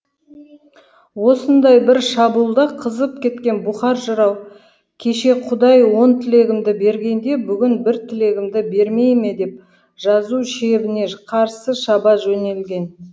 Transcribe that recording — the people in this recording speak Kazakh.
осындай бір шабуылда қызып кеткен бұқар жырау кеше құдай он тілегімді бергенде бүгін бір тілегімді бермей ме деп жау шебіне қарсы шаба жөнелген